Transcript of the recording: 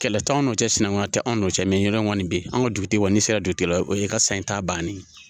Kɛlɛ t'an n'o tɛ sinankunya tɛ anw nɔfɛ ɲɔgɔn bɛ yen an ka dugutigi kɔni sera dugutigi la o ye ka san ta bannen ye